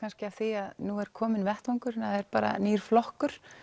af því að nú er kominn vettvangur það er nýr flokkur